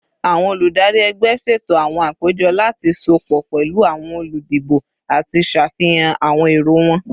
Awọn oludari ẹgbẹ ṣeto awọn apejọ lati sopọ pẹlu awọn oludibo ati ṣafihan awọn ero wọn